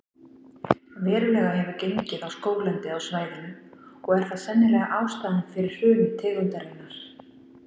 Verulega hefur gengið á skóglendið á svæðinu og er það sennilega ástæðan fyrir hruni tegundarinnar.